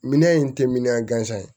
Minɛn in tɛ min gansan ye